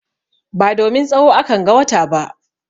Ba domin tsawo akan ga wata ba.